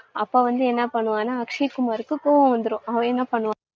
அப்பவந்து என்ன பண்ணுவானா அக்ஷய் குமாருக்கு கோவம் வந்திடும். அவன் என்ன பண்ணுவான்